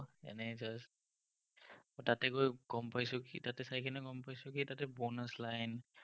এনেই just তাতে গৈ গম পাইছো কি, তাতে চাই গ'ম পাইছো, এই bonus-line